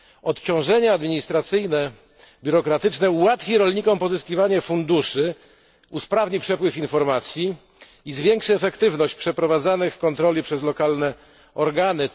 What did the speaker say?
Odciążenie administracyjne, biurokratyczne ułatwi rolnikom pozyskiwanie funduszy, usprawni przepływ informacji i zwiększy efektywność przeprowadzanych kontroli przez lokale organy.